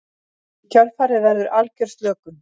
Í kjölfarið verður algjör slökun.